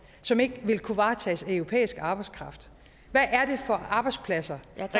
som ikke ville kunne varetages af europæisk arbejdskraft hvad er det for arbejdspladser